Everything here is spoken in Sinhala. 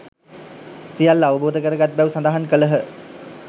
සියල්ල අවබෝධ කරගත් බැව් සඳහන් කළහ.